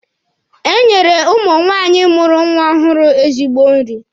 E nyere ụmụ nwaanyị mụrụ nwa ọhụrụ ezigbo nri.